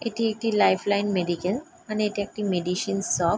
এইটি একটি life line medical মানে এটি একটি মেডিসিন শপ ।